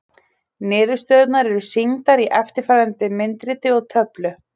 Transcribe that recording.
Niðurstöðurnar eru sýndar í eftirfarandi myndriti og töflu: